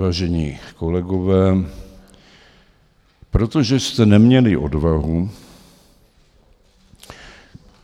Vážení kolegové, protože jste neměli odvahu